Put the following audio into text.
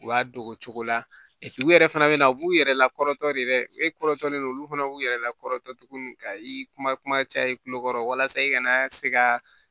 U y'a don o cogo la u yɛrɛ fana bɛna u b'u yɛrɛ lakɔlɔtɔ de dɛ e kɔrɔ tɔlen don olu fana b'u yɛrɛ lakɔlɔtɔ tuguni ka i kuma kuma caya i kulokɔrɔ walasa i kana se ka